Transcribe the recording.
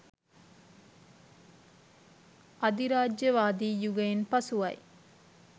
අධිරාජ්‍යවාදී යුගයෙන් පසුවයි.